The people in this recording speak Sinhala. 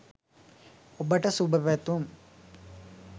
ඔබට සුභ පැතුම්!